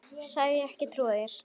Sagðist ekki trúa mér.